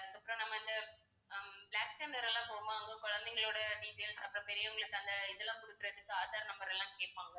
அதுக்கப்புறம் நம்ம இந்த ஹம் பிளாக் தண்டர் எல்லாம் போகும்போது அங்க குழந்தைங்களோட details அப்புறம் பெரியவங்களுக்கு அந்த இதெல்லாம் கொடுக்குறதுக்கு ஆதார் number எல்லாம் கேட்பாங்க